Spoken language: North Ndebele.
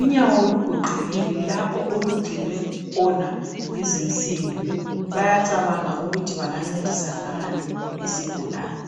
Unyawo lugoqekile lapho olungcinwe khona yizinsimbi. Bayacabanga ukuthi bangancedisa ngani isigulane.